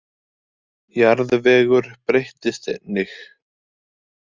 Jarðvegur breyttist einnig.